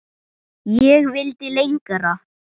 Ég vildi lengra.